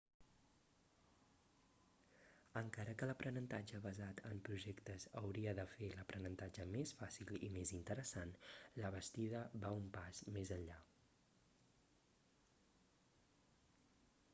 encara que l'aprenentatge basat en projectes hauria de fer l'aprenentatge més fàcil i més interessant la bastida va un pas més enllà